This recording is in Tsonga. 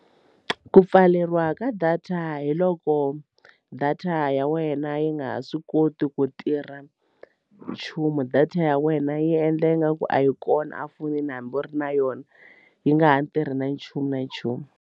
Ku pfaleriwa ka data hi loko data ya wena yi nga ha swi koti ku tirha nchumu data ya wena yi endla nga ku a yi kona a fonini hambi u ri na yona yi nga ha tirhi na nchumu na nchumu.